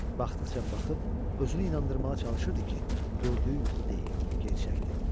Baxdıqca baxıb özünü inandırmağa çalışırdı ki, gördüyü yuxu deyil, gerçəkdir.